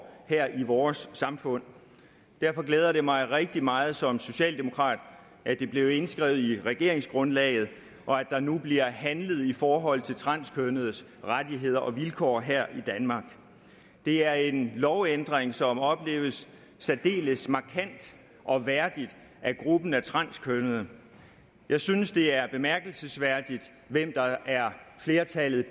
her i vores samfund derfor glæder det mig rigtig meget som socialdemokrat at det blev indskrevet i regeringsgrundlaget og at der nu bliver handlet i forhold til transkønnedes rettigheder og vilkår her i danmark det er en lovændring som opleves særdeles markant og værdigt af gruppen af transkønnede jeg synes det er bemærkelsesværdigt hvem der er flertallet